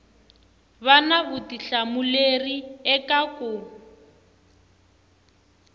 va na vutihlamuleri eka ku